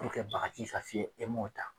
kɛ bagaji ye e m'o ta